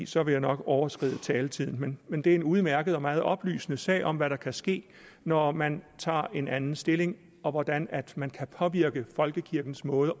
så vil jeg nok overskride taletiden men det er en udmærket og meget oplysende sag om hvad der kan ske når man tager en anden stilling og hvordan man kan påvirke folkekirkens måde